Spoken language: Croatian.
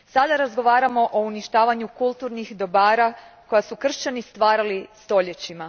Sada razgovaramo o uništavanju kulturnih dobara koja su kršćani stvarali stoljećima.